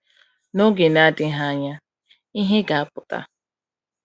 N’oge na-adịghị anya, ihe ga-apụta.